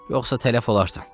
Yoxsa tələf olarsan.